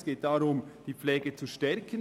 Es geht darum, die Pflege zu stärken.